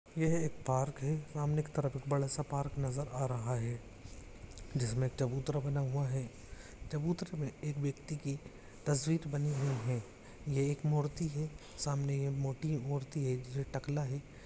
यह एक पार्क हैसामने की तरफ बड़ा सा पार्क नजर अ रहा है जिस मे चबूतरा बना हुआ है चबूतर में एक व्यक्ति की तस्वीर बनी हुई है ये एक मूर्ति है समाने मूर्ति में एक टकला है।